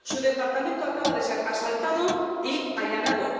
su departamento acaba de ser asaltado y allanado.